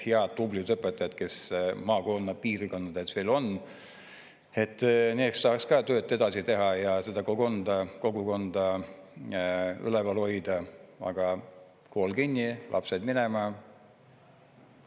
Head, tublid õpetajad, kes maapiirkondades veel on, et need saaks ka tööd edasi teha ja seda kogukonda üleval hoida, aga kool kinni, lapsed minema.